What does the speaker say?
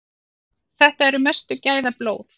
Þetta eru mestu gæðablóð.